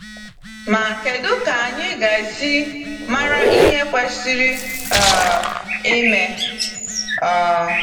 Ma, kedụ ka anyị ga-esi mara ihe kwesịrị um ime? um